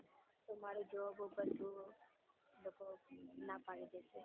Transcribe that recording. તો મારુ job ઉપોર એ લોકો ના પાડી દેશે.